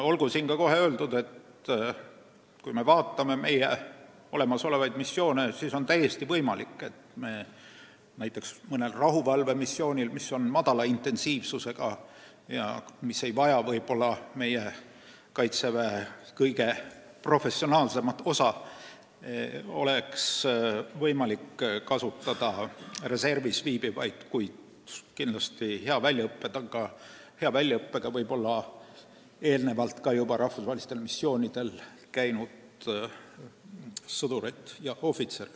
Olgu siin kohe ka ära öeldud, et kui me vaatame meie olemasolevaid missioone, siis on täiesti võimalik, et näiteks mõnel rahuvalvemissioonil, mis on madala intensiivsusega ega vaja tingimata meie Kaitseväe kõige professionaalsemat osa, oleks meil võimalik kasutada reservis viibivaid, kuid kindlasti hea väljaõppega sõdureid ja ohvitsere, kes on võib-olla enne rahvusvahelistel missioonidel käinud.